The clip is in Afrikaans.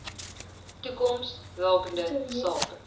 toekoms rakende sake